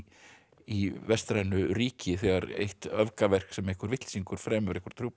í vestrænu ríki þegar eitt sem einhver vitleysingur fremur